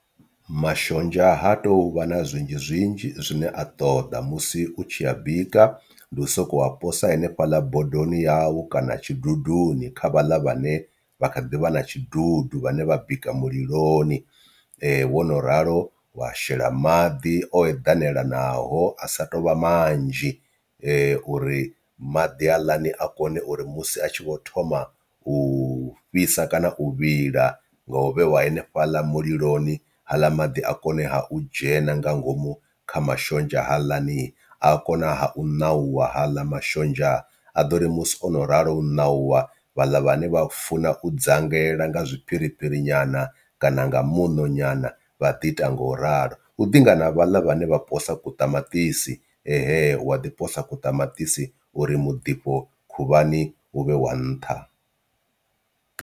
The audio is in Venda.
Mashonzha ha tou vha na zwinzhi zwinzhi zwine a ṱoḓa musi u tshi a bika ndi u soko a posa henefhaḽa bodoni yau kana tshiduduni kha vhaḽa vhane vha kha ḓivha na tshidudu vhane vha bika muliloni. Wo no ralo wa shela maḓi o eḓanela naho a sa tou vha manzhi uri maḓi haaḽani a kone uri musi a tshi vho thoma u fhisa kana u vhila nga u vhewa henefhaḽa muliloni haaḽa maḓi a kone ha u dzhena nga ngomu kha mashonzha haaḽani, a kona ha u ṋauwa haaḽa mashonzha a ḓo ri musi ono ralo u ṋauwa vhaḽa vhane vha funa u dzangela nga zwi piripiri nyana kana nga muṋo nyana vha ḓi ita nga u ralo. Hu ḓinga na ha vhaḽa vhane vha posa ku ṱamaṱisi he wa ḓi posa ku ṱamaṱisi uri muḓifho khuvhani uvhe wa nṱha.